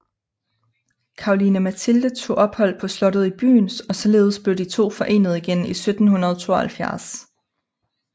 Caroline Mathilde tog ophold på slottet i byen og således blev de to forenet igen i 1772